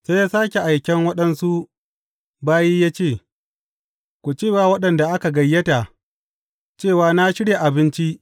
Sai ya sāke aiken waɗansu bayi ya ce, Ku ce wa waɗanda aka gayyata cewa na shirya abinci.